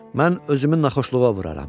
Mən özümü naxoşluğa vuraram.